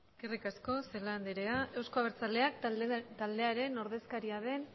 eskerrik asko celaá andrea euzko abertzaleak taldearen ordezkaria den